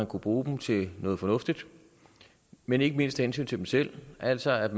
kunne bruge dem til noget fornuftigt men ikke mindst af hensyn til dem selv altså at